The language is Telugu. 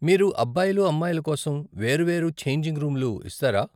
మీరు అబ్బాయిలు, అమ్మాయిల కోసం వేరువేరు ఛేంజింగ్ రూమ్లు ఇస్తారా ?